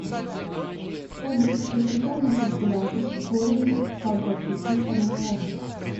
салют посчитай на калькуляторе корень из ста двадцати одного